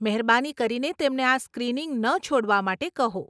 મહેરબાની કરીને તેમને આ સ્ક્રિનિંગ ન છોડવા માટે કહો.